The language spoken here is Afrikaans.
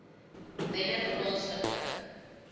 wennerplaaslike